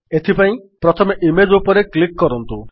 ଏଥିପାଇଁ ପ୍ରଥମେ ଇମେଜ୍ ଉପରେ କ୍ଲିକ୍ କରନ୍ତୁ